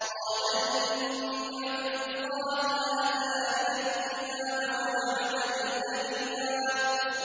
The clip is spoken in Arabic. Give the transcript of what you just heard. قَالَ إِنِّي عَبْدُ اللَّهِ آتَانِيَ الْكِتَابَ وَجَعَلَنِي نَبِيًّا